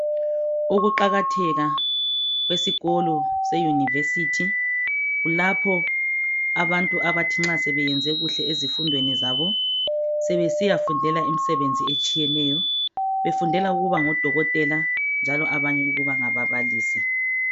Ukuqakatheka kwesikolo seyunivesithi iulapho abantu abathi nxa sebeyenze kuhle ezifundweni zabo sebesiyafundela imisebenzi etshiyeneyo befundela ukuba ngodokotel njalo abanye ukuba ngababalisi.